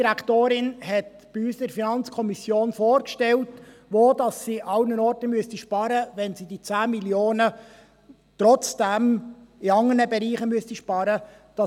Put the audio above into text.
Die ERZ hat bei uns in der FiKo vorgestellt, wo sie überall sparen müsste, wenn sie die 10 Mio. Franken trotzdem in anderen Bereichen einsparen müsste.